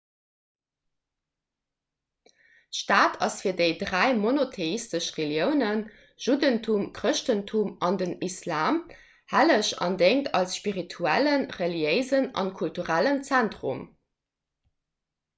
d'stad ass fir déi dräi monotheistesch reliounen juddentum chrëschtentum an den islam helleg an déngt als spirituellen reliéisen a kulturellen zentrum